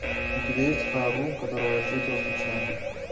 у тебя есть ха ру которого я встретила случайно